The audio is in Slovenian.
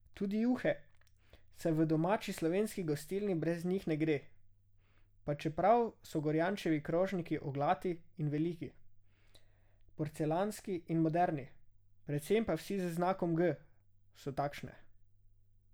Tudi juhe, saj v domači slovenski gostilni brez njih ne gre, pa čeprav so Gorjančevi krožniki oglati in veliki, porcelanski in moderni, predvsem pa vsi z znakom G, so takšne.